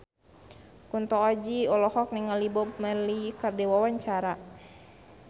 Kunto Aji olohok ningali Bob Marley keur diwawancara